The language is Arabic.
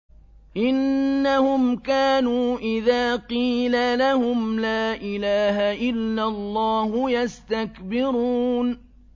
إِنَّهُمْ كَانُوا إِذَا قِيلَ لَهُمْ لَا إِلَٰهَ إِلَّا اللَّهُ يَسْتَكْبِرُونَ